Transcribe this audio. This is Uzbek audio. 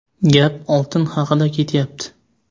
Gap oltin haqida ketyapti.